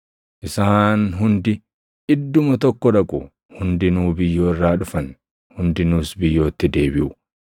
Isaan hundi idduma tokko dhaqu; hundinuu biyyoo irraa dhufan; hundinuus biyyootti deebiʼu.